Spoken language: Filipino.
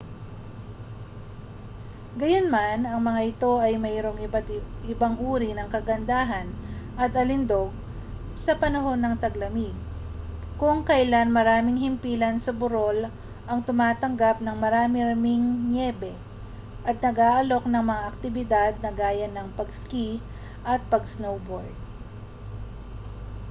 gayunman ang mga ito ay mayroong ibang uri ng kagandahan at alindog sa panahon ng taglamig kung kailan maraming himpilan sa burol ang tumatanggap ng marami-raming niyebe at nag-aalok ng mga aktibidad na gaya ng pag-ski at pag-snowboard